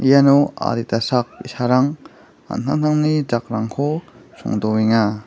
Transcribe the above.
iano adita sak bi·sarang an·tangtangni jakrangko songdoenga.